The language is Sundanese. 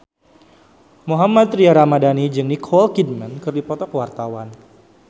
Mohammad Tria Ramadhani jeung Nicole Kidman keur dipoto ku wartawan